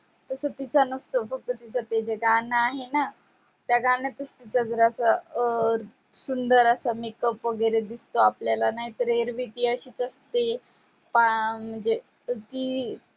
तस तिचा नसतो फक्त तिचा ते गाण आहे णा त्या गणातच तिचा जरासा अं सुंदर असा makeup वगेरे दिसतो आपल्या नाही तर येर विकी अशीच असते पाहा म्हणजे ती